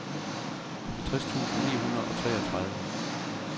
halvtreds tusind ni hundrede og treogtredive